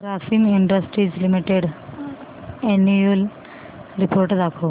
Grasim industries limited annual report दाखव